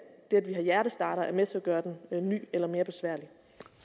vi har hjertestartere er med til at gøre den ny eller mere besværlig